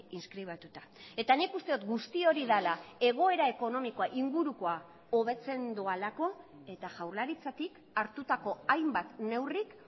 inskribatuta eta nik uste dut guzti hori dela egoera ekonomikoa ingurukoa hobetzen doalako eta jaurlaritzatik hartutako hainbat neurrik